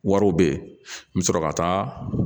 Wariw bɛ ye n bɛ sɔrɔ ka taa